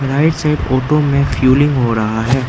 Right side photo में feeling हो रहा है।